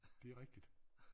Det rigtigt